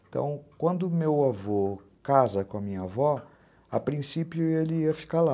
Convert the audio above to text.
Então, quando meu avô casa com a minha avó, a princípio ele ia ficar lá.